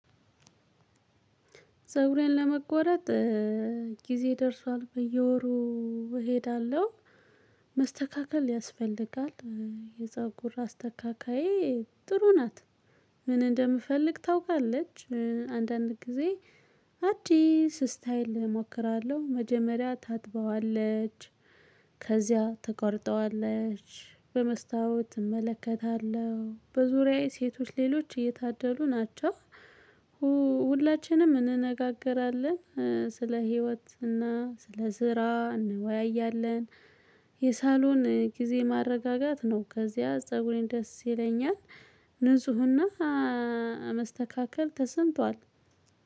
ፀጉሬን ለመቆረጥ ጊዜ ደርሷል በየወሩ እሄዳለሁ መስተካከል ያስፈልጋል የፀጉር አስተካካዬ ጥሩ ናት። ምን እንደምፈልግ ታውቃለች አንዳንድ ጊዜ አዲስ ስታይል እሞክራለሁ። መጀመሪያ ታጥበዋለች ከዚያ ትቆርጠዋለች በመስታወት እመለከታለሁ በዙሪያዬ ሴቶች ሌሎች እየታደሉ ናቸው። ሁላችንም እንነጋገራለን ስለ ህይወት እና ስለ ስራ እንወያያለን። የሳሎን ጊዜ ማረጋጋት ነው። ከዚያ ፀጉሬን ደስ ይለኛል። ንፁህና መስተካከል ተሰምቷል።